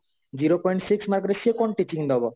zero point six mark ରେ ସେ କଣ teaching ଦବ